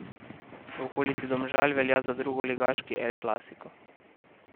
V okolici Domžal velja za drugoligaški el clasico.